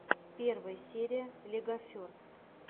первая серия легоферст